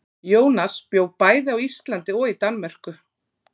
Jónas bjó bæði á Íslandi og í Danmörku.